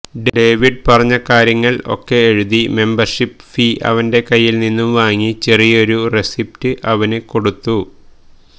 David പറഞ്ഞ കാര്യങ്ങൾ ഒക്കെ എഴുതി മെമ്പർഷിപ് ഫീ അവന്റെ കയ്യിൽ നിന്നും വാങ്ങി ചെറിയൊരു റെസീപ്റ്റ് അവന് കൊടുത്തു